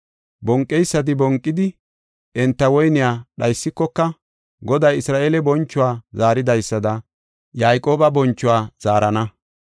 Bonqeysati bonqidi, enta woyniya dhaysikoka, Goday Isra7eele bonchuwa zaaridaysada Yayqooba bonchuwa zaarana.